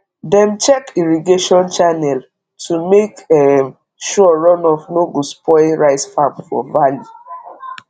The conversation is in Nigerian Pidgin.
dem check irrigation channel to make um sure runoff no go spoil rice farm for valley